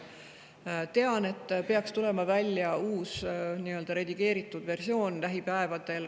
Tean, et lähipäevadel peaks tulema välja uus, redigeeritud versioon.